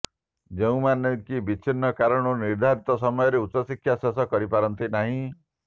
ଯେଉଁମାନେ କି ବିଭିନ୍ନ କାରଣରୁ ନିର୍ଧାରିତ ସମୟରେ ଉଚ୍ଚଶିକ୍ଷା ଶେଷ କରିପାରନ୍ତି ନାହିଁ